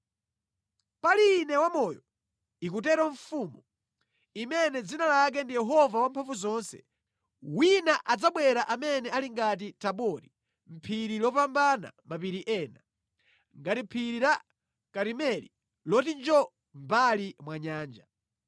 “Pali Ine wamoyo,” ikutero Mfumu, imene dzina lake ndi Yehova Wamphamvuzonse, “wina adzabwera amene ali ngati Tabori phiri lopambana mapiri ena, ngati phiri la Karimeli loti njoo mʼmbali mwa nyanja.